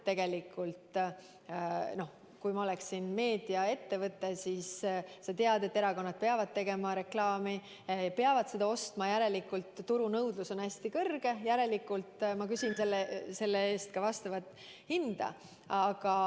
Kui ma oleksin meediaettevõte, siis ma teaksin, et erakonnad peavad tegema reklaami, peavad seda ostma, järelikult turu nõudlus on hästi suur ja järelikult ma küsin selle eest ka vastavat hinda.